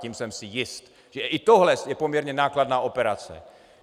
Tím jsem si jist, že i tohle je poměrně nákladná operace.